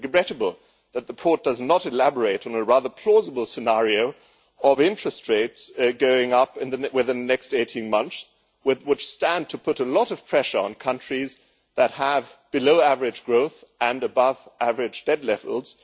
It is regrettable that the report does not elaborate on the rather plausible scenario of interest rates going up within the next 18 months, which would stand to put a lot of pressure on countries that have below-average growth and above-average debt levels.